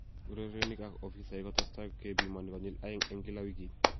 Urerenik ak ofisaek kotesetai kepimoni konyil aeng en kila wigit